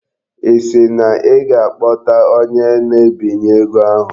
Ị sị na ị ga-akpọta onye na-ebinye ego ahụ?